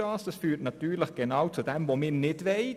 Das führt genau zu dem, was wir nicht wollen.